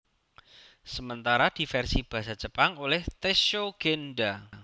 Sementara di versi basa Jepang oleh Tessho Gendha